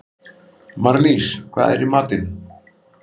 Marlís, hvað er í matinn?